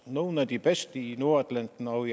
nogle af de bedste i nordatlanten og